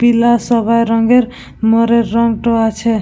পিলা সবাই রঙের মোরের রংটো আছে ।